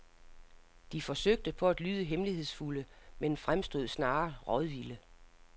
De forsøgte på at lyde hemmelighedsfulde men fremstod snarere rådvilde.